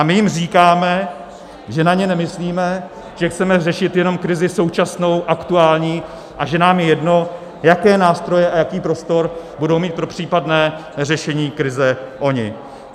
A my jim říkáme, že na ně nemyslíme, že chceme řešit jenom krizi současnou, aktuální a že nám je jedno, jaké nástroje a jaký prostor budou mít pro případné řešení krize oni.